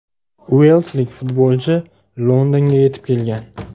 Uelslik futbolchi Londonga yetib kelgan.